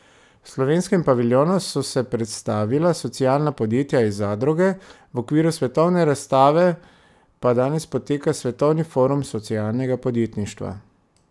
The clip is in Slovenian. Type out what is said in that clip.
V slovenskem paviljonu so se predstavila socialna podjetja in zadruge, v okviru svetovne razstave pa danes poteka Svetovni forum socialnega podjetništva.